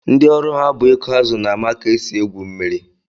Ndị ọrụ ha bụ ịkụ azụ na-ama ka e si egwu mmiri